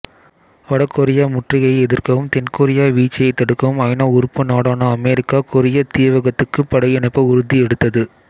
வடகொரிய முற்றுகையை எதிர்க்கவும் தென்கொரிய வீழ்ச்சியைத் தடுக்கவும் ஐநா உறுப்பு நாடான அமெரிக்கா கொரியத் தீவகத்துக்குப் படையனுப்ப உறுதி எடுத்தது